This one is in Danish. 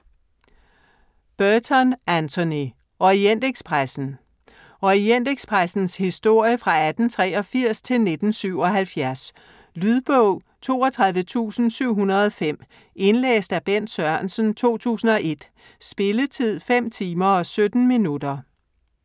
Burton, Anthony: Orientekspressen Orientekspressens historie fra 1883 til 1977. Lydbog 32705 Indlæst af Bent Sørensen, 2001. Spilletid: 5 timer, 17 minutter.